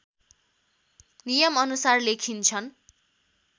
नियम अनुसार लेखिन्छन्